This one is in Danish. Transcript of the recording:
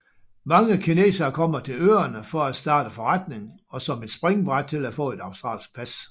Mange kinesere kommer til øerne for at starte forretning og som et springbræt til at få et australsk pas